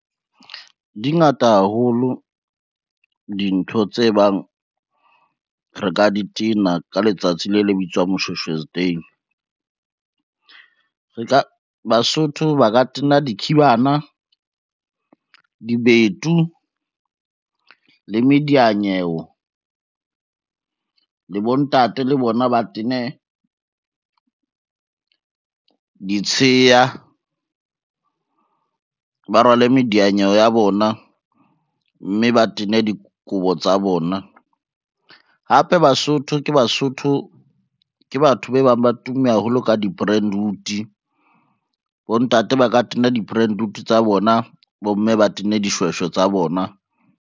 Di ngata haholo dintho tse bang re ka di tena ka letsatsi le le bitswang Moshweshwe's day. Basotho ba ka tena dikhibana, dibetu le medianyewo le bontate le bona ba tene ditsheya, ba rwale medianyewe ya bona, mme ba tene dikobo tsa bona. Hape Basotho, ke Basotho ke batho be bang ba tumme haholo ka di-brentwood bontate ba ka tena di-brentwood tsa bona bo, mme ba tenne dishweshwe tsa bona.